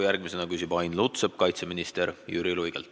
Järgmisena küsib Ain Lutsepp kaitseminister Jüri Luigelt.